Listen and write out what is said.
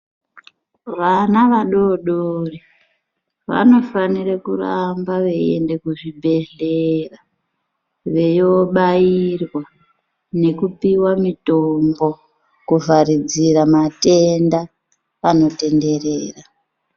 Vana vadodori vanofanire kuramba veiende kuzvibhehlera veibairwa nekupiwa mitombo kuvharidzira matenda anotenderera.